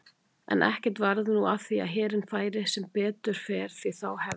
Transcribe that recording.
En ekkert varð nú af því að herinn færi, sem betur fer því þá hefði